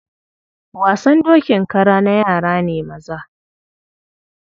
Wasan dokin kara na yara ne maza. Horse riding imitation is a male child play.